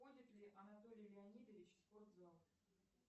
ходит ли анатолий леонидович в спортзал